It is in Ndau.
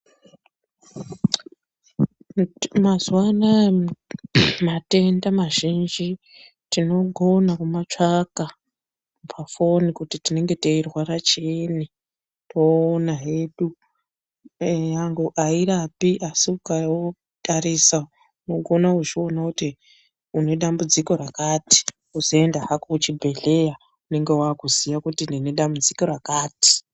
Mazuwa anaya matenda mazhinji tinogona kumatsvaka pafoni kuti tinenge teirwara chiini toona hedu eenyangwe airapi asi ukao tarisa unogona kuzviona kuti unedambudziko rakati wozoenda hako kuchibhedhleya unenge wakuziya kuti ndine dambudziko rakati.